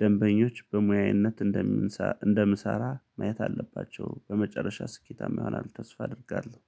ደንበኞች በሙያነት እንደምሳ እንደምሰራ ማየት አለባቸው። በመጨረሻ ስኬታማ ይሆናሉ ተስፋ አደርጋለሁ